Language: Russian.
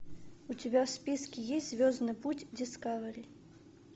у тебя в списке есть звездный путь дискавери